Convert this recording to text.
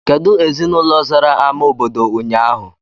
Kedụ ezinaụlọ zara ámá obodo ụnyaahụ?